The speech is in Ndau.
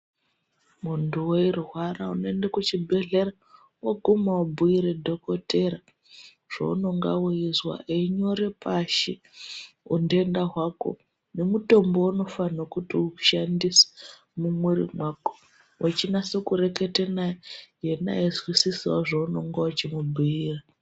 Muntu weirwara unoende kuchibhedhlera woguma wobhuire dhokotera zvounonga weizwa einyore pashi untenda hwako nemutombo wounafanira kuti ushandise mumwiri mwako. Wechinase kureketa naye, ena eizwisisawo zvounenge uchimubhuira.